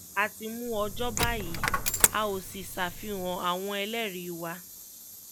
a ti mú ọjọ́ báyìí a óò sì ṣàfihàn àwọn ẹlẹ́rìí wa